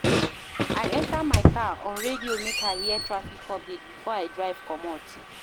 I enta my car, on radio make I hear traffic updates before I drive comot.